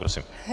Prosím.